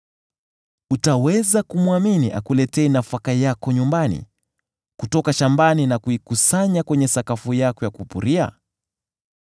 Utaweza kumwamini akuletee nafaka yako nyumbani kutoka shambani na kuikusanya kwenye sakafu yako ya kupuria?